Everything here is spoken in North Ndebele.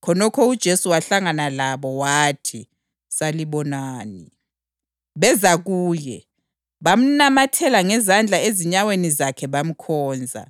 Khonokho uJesu wahlangana labo. Wathi, “Salibonani.” Beza kuye, bamnamathela ngezandla ezinyaweni zakhe bamkhonza.